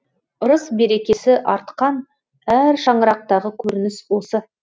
ырыс берекесі артқан әр шаңырақтағы көрініс осы